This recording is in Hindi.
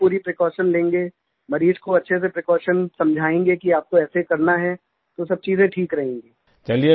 अगर हम पूरी प्रीकॉशन लेंगे मरीज़ को अच्छे से प्रीकॉशन समझायेंगे कि आपको ऐसे करना है तो सब चीज़ें ठीक रहेंगी